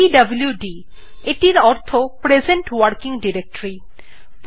পিডব্লুড অর্থে present working directory বোঝায়